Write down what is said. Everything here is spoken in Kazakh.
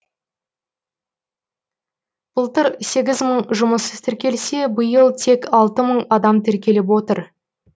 былтыр сегіз мың жұмыссыз тіркелсе биыл тек алты мың адам тіркеліп отыр